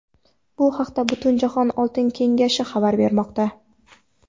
Bu haqda Butunjahon oltin kengashi xabar bermoqda .